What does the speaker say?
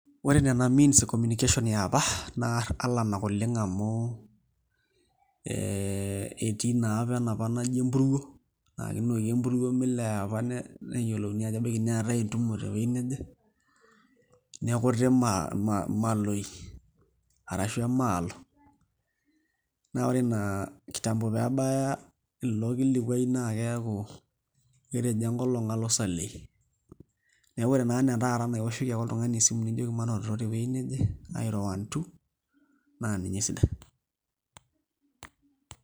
Ore nena means e communication e apa naa alanak oleng' amu ee etii naa enapa naji empuruo naa kinoki empuruo milepa neyiolouni ajo ebaiki neetae entumo tewueji naje nekuti imaloi arashu emaalo naa ore ina kitambo nebaya orkilikuai neeku eshomo enkolong' isalei naa ore naa ine taata naa aioshoki ake oltung'ani esimu nijoki manototo tewuei neje airo one, two naa ninye esidai.